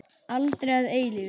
Aldrei að eilífu.